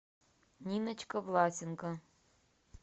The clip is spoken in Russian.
ниночка власенко